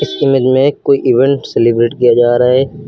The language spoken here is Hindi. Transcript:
इस इमेज में कोई इवेंट सेलिब्रेट किया जा रहा है।